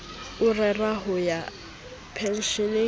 o rera ho ya pensheneng